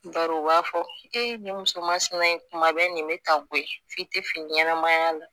Bari u b'a fɔ e nin musomansina in kuma bɛ nin bɛ ka bɔ yen f'i tɛ fɛ ɲɛnɛmaya la